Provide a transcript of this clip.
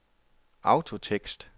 autotekst